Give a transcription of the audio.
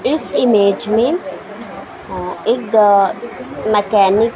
इस इमेज में एक मैकेनिक --